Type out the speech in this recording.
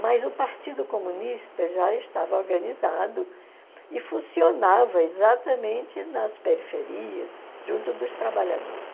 Mas o Partido Comunista já estava organizado e funcionava exatamente nas periferias, junto dos trabalhadores.